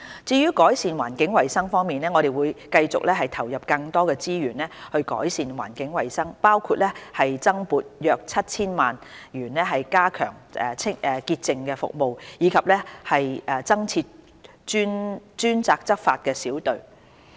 至於改善環境衞生方面，我們會繼續投入更多資源改善環境衞生，包括增撥約 7,000 萬元加強潔淨服務，以及增設專責執法小隊。